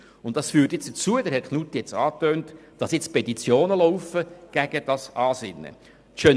Das führt dazu – Grossrat Knutti hat es angetönt –, dass Petitionen gegen das Ansinnen laufen.